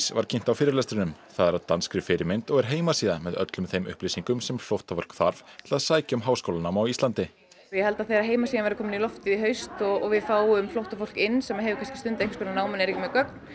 var kynnt á fyrirlestrinum það er að danskri fyrirmynd og er heimasíða með öllum þeim upplýsingum sem flóttafólk þarf til að sækja um háskólanám á Íslandi ég held að þegar heimasíðan verður komin í loftið í haust og við fáum flóttafólk inn sem hefur stundað einhvers konar nám en er ekki með gögn